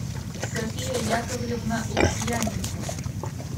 софия яковлевна лукьяненко